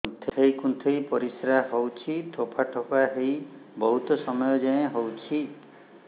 କୁନ୍ଥେଇ କୁନ୍ଥେଇ ପରିଶ୍ରା ହଉଛି ଠୋପା ଠୋପା ହେଇ ବହୁତ ସମୟ ଯାଏ ହଉଛି